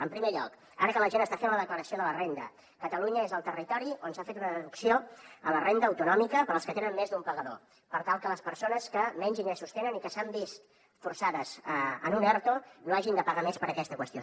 en primer lloc ara que la gent està fent la declaració de la renda catalunya és el territori on s’ha fet una deducció en la renda autonòmica per als que tenen més d’un pagador per tal que les persones que menys ingressos tenen i que s’han vist forçades a un erto no hagin de pagar més per aquesta qüestió